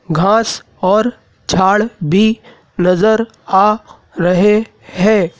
घास और झाड़ भी नजर आ रहे हैं।